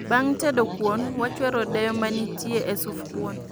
Bang' tedo kuon , wachwero odeyo manitie e suf kuon